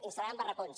instal·laran barracons